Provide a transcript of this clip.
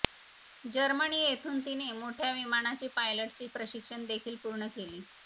Germany येथून तिने मोठ्या विमानाचे पायलटचे प्रशिक्षण देखील पूर्ण केले